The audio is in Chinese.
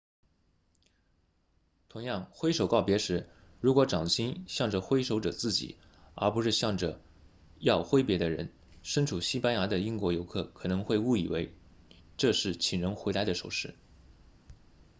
同样挥手告别时如果掌心向着挥手者自己而不是向着要挥别的人身处西班牙的英国游客可能会误以为这是请人回来的手势